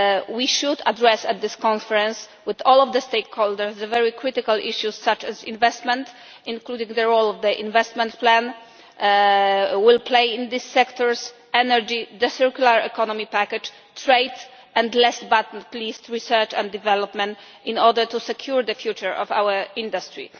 We should address at this conference, with all of the stakeholders, the very critical issues such as investment including the role which the investment plan will play in these sectors energy, the circular economy package, trade and, last but not least, research and development, in order to secure the future of our industry.